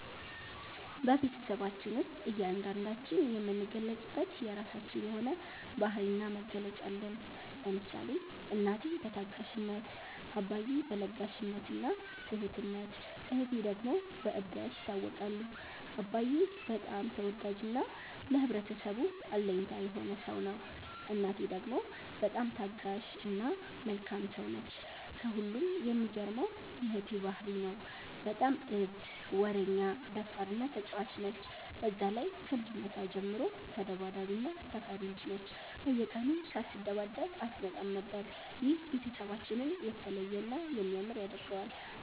በቤትሰባችን ውስጥ እያንዳንዳችን የምንገለፅበት የራችን የሆነ ባህሪ እና መገለጫ አለን። ለምሳሌ እናቴ በታጋሽነት፣ አባዬ በ ለጋሽነት እና ትሁትነት እህቴ ደግሞ በ እብደት ይታወቃሉ። አባዬ በጣም ተወዳጅ እና ለህብረተሰቡ አለኝታ የሆነ ሰው ነው። እናቴ ደግሞ በጣም ታጋሽ እና መልካም ሰው ነች። ከሁሉም የሚገርመው የ እህቴ ባህሪ ነው። በጣም እብድ፣ ወረኛ፣ ደፋር እና ተጫዋች ነች። በዛ ላይ ከልጅነቷ ጀምሮ ተዳባዳቢ እና ተፈሪ ልጅ ነች፤ በየቀኑ ሳትደባደብ አትመጣም ነበር። ይህ ቤተሰባችንን የተለየ እና የሚያምር ያደርገዋል።